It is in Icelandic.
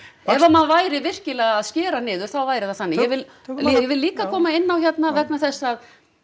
ef að maður væri virkilega að skera niður þá væri það þannig ég vil ég vil líka koma inn á hérna vegna þess að